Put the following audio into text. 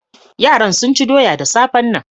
Yaran sun ci doya da safan nan.